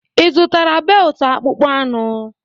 Ị zụtara beltụ akpụkpọ anụ?